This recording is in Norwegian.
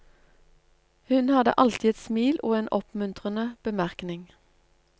Hun hadde alltid et smil og en oppmuntrende bemerkning.